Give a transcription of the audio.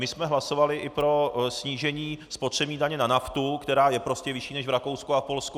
My jsme hlasovali i pro snížení spotřební daně na naftu, která je prostě nižší než v Rakousku a Polsku.